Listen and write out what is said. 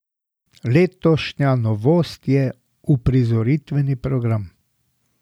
Letošnja novost je uprizoritveni program.